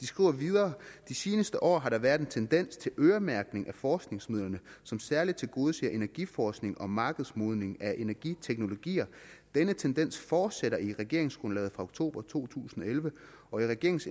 skriver videre de seneste år har der været en tendens til øremærkning af forskningsmidlerne som særligt tilgodeser energiforskning og markedsmodning af energiteknologier denne tendens fortsætter i regeringsgrundlaget fra oktober to tusind og elleve og i regeringens